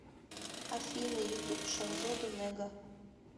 афина ютуб шахзода нэга